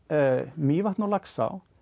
Mývatn og Laxá